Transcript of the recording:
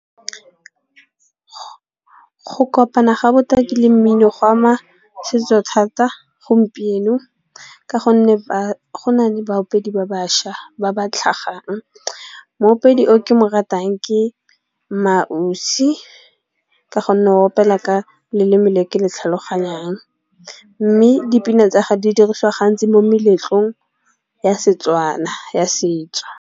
Go kopana ga botaki le mmino go ama setso thata gompieno. Ka gonne ba go na le baopedi ba bašwa ba ba tlhagang. Moopedi o ke mo ratang ke Maausi ka go nne o opela ka leleme le ke le tlhaloganyang. Mme dipina tsa ga di dirisiwa gantsi mo meletlong ya Setswana ya setso.